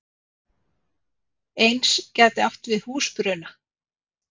Eins gæti verið átt við húsbruna.